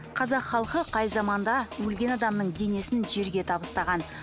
қазақ халқы қай заманда өлген адамның денесін жерге табыстаған